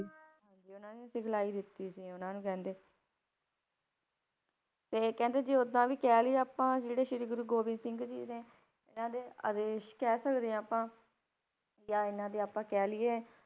ਹਾਂਜੀ ਉਹਨਾਂ ਨੇ ਸਿਖਲਾਈ ਦਿੱਤੀ ਸੀ ਉਹਨਾਂ ਨੂੰ ਕਹਿੰਦੇ ਤੇ ਕਹਿੰਦੇ ਜੇ ਓਦਾਂ ਵੀ ਕਹਿ ਲਈਏ ਆਪਾਂ ਜਿਹੜੇ ਸ੍ਰੀ ਗੁਰੂ ਗੋਬਿੰਦ ਸਿੰਘ ਜੀ ਨੇ ਇਹਨਾਂ ਦੇ ਆਦੇਸ਼ ਕਹਿ ਸਕਦੇ ਹਾਂ ਆਪਾਂ ਜਾਂ ਇਹਨਾਂ ਦੇ ਆਪਾਂ ਕਹਿ ਲਈਏ,